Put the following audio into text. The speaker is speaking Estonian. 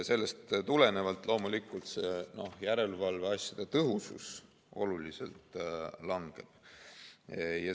Sellest tulenevalt järelevalveasjade tõhusus oluliselt langeb.